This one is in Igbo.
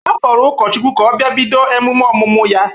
A kpọrọ ụkọchukwu ka ọ bịa bido emume ọmụmụ ya!